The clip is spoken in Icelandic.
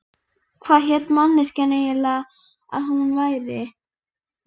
Hvað hélt manneskjan eiginlega að hún væri?